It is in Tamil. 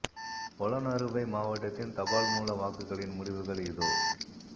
பொலன்னறுவை மாவட்டத்தின் தபால் மூல வாக்குகளின் முடிவுகள் இதோ